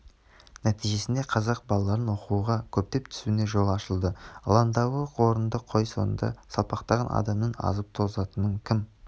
нәтижесінде қазақ балаларының оқуға көптеп түсуіне жол ашылды алаңдауы орынды қой соңында салпақтаған адамның азып-тозатынын кім